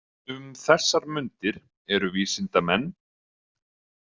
Um þessar mundir eru vísindamenn.